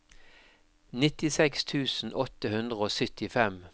nittiseks tusen åtte hundre og syttifem